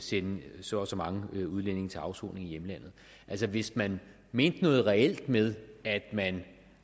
sende så og så mange udlændinge til afsoning i hjemlandet altså hvis man mente noget reelt med at man